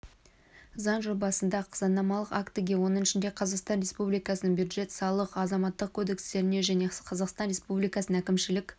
заң жобасында заңнамалық актіге оның ішінде қазақстан республикасының бюджет салық азаматтық кодекстеріне және қазақстан республикасының әкімшілік